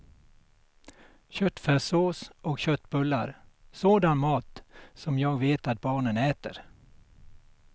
Köttfärssås och köttbullar, sådan mat som jag vet att barnen äter.